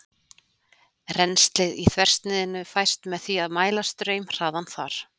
Rennslið í þversniðinu fæst með því að mæla straumhraðann þar.